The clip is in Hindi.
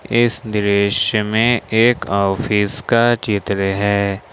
इस दृश्य में एक ऑफिस का चित्र है।